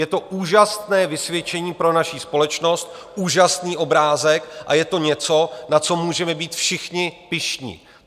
Je to úžasné vysvědčení pro naši společnost, úžasný obrázek, a je to něco, na co můžeme být všichni pyšní.